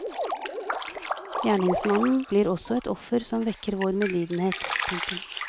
Gjerningsmannen blir også et offer som vekker vår medlidenhet. punktum